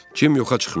Cim yoxa çıxmışdı.